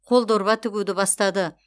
қол дорба тігуді бастады